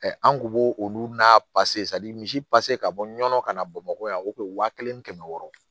an kun b'o olu n'a misi ka bɔ nɔnɔ ka na bamakɔ yan waa kelen ni kɛmɛ wɔɔrɔ